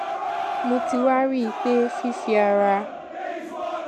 mo ti wá rí i pé fífi ara